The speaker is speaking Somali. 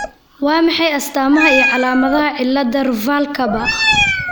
Waa maxay astamaha iyo calaamadaha cilada Ruvalcaba ?